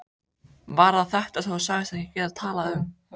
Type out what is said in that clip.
Var það þetta sem þú sagðist ekki geta talað um?